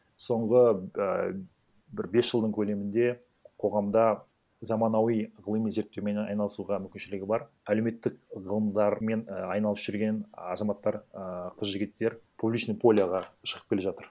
соңғы ііі бір бес жылдың көлемінде қоғамда заманауи ғылыми зерттеумен айналысуға мүмкіншілігі бар әлеуметтік ғылымдар мен айналысып жүрген ы азаматтар ыыы қыз жігіттер публичный полеға шығып келе жатыр